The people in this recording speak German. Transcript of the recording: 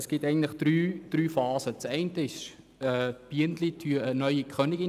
Es gibt immer drei Phasen: in der ersten züchten die Bienen eine neue Königin.